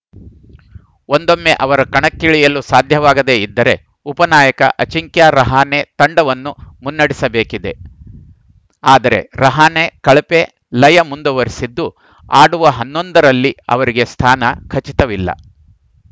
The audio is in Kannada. ಒಂದೊಮ್ಮೆ ಅವರು ಕಣಕ್ಕಿಳಿಯಲು ಸಾಧ್ಯವಾಗದೆ ಇದ್ದರೆ ಉಪನಾಯಕ ಅಜಿಂಕ್ಯ ರಹಾನೆ ತಂಡವನ್ನು ಮುನ್ನಡೆಸಬೇಕಿದೆ ಆದರೆ ರಹಾನೆ ಕಳಪೆ ಲಯ ಮುಂದುವರಿಸಿದ್ದು ಆಡುವ ಹನ್ನೊಂದರಲ್ಲಿ ಅವರಿಗೆ ಸ್ಥಾನ ಖಚಿತವಿಲ್ಲ